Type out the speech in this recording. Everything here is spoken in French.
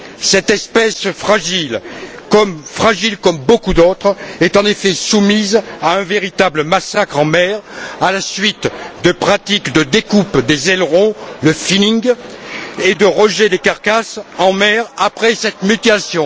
Cette espèce fragile, comme beaucoup d'autres, est en effet soumise à un véritable massacre en mer à la suite de pratiques de découpe des ailerons, le finning et de rejets des carcasses en mer après cette mutilation.